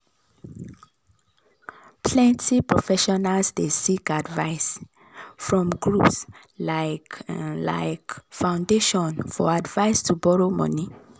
plenty professionals dey seek advice from groups like um like foundation for advise to borrow money